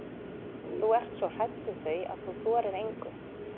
Þú ert svo hrædd við þau að þú þorir engu.